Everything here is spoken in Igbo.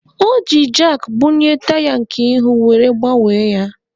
O ji jakị bunie taya nke ihu were gbanwee ya.